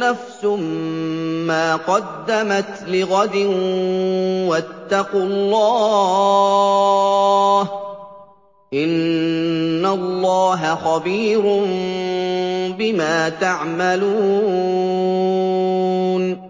نَفْسٌ مَّا قَدَّمَتْ لِغَدٍ ۖ وَاتَّقُوا اللَّهَ ۚ إِنَّ اللَّهَ خَبِيرٌ بِمَا تَعْمَلُونَ